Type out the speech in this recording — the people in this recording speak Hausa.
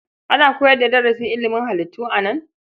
Ana koyar da darasin ilimin halittu a nan?